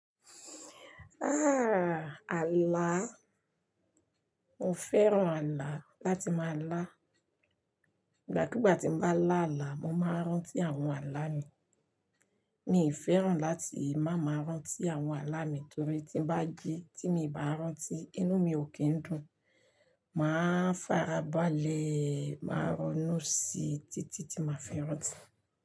Ah! Ààlà, mo fẹ́ràn ààlà láti máa lá. Ìgbàkúgbà tí mo bá lá ààlà, mo máa rántí àwọn ààlà mi. Mí fẹ́ràn láti máa máa rántí àwọn ààlà mi torí tí bá di tí mo bá rántí inú mi ò kí ń dùn. Máa farabalẹ̀ máa ronú sí títí tí màá fẹ́ rántí.